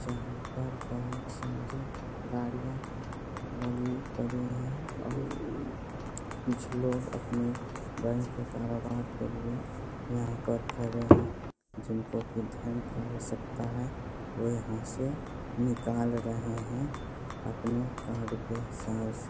जहाँ पर बहोत सारी गाड़ियाँ लगी पड़ी हैं और कुछ लोग अपने बैंक के कारोबार के लिए यहाँ पर खड़े हैं जिनको की धन का आवश्यकता है वे यहाँ से निकाल रहे हैं अपने कार्ड के हिसाब से।